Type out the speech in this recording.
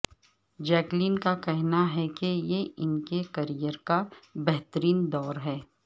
Jacqueline کا کہنا ہے کہ یہ ان کے کریئر کا بہترین دور ہے